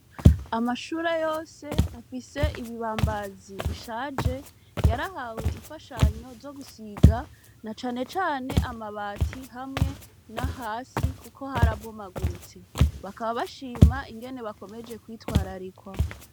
Amashure yose afise ibibambazi bishaje yarahawe imfashanyo zo gusiga na canecane amabati hamwe na hasi, kuko harabomaguritse bakaba bashima ingene bakomeje kwitwararikwa.